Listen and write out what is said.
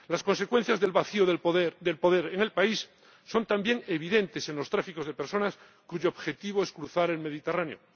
Las consecuencias del vacío de poder en el país son también evidentes en los tráficos de personas cuyo objetivo es cruzar el Mediterráneo.